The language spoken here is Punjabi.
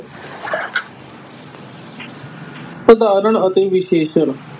ਸਾਧਾਰਨ ਅਤੇ ਵਿਸ਼ੇਸ਼ਣ,